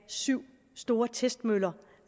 syv store testmøller